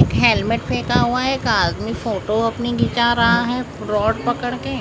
एक हेलमेट फेंका हुआ है एक आदमी फोटो अपनी खिचा रहा है रोड पकड़ के